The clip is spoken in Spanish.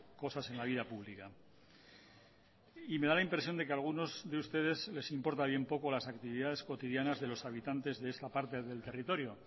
cosas en la vida pública y me da la impresión de que a algunos de ustedes les importa bien poco las actividades cotidianas de los habitantes de esa parte del territorio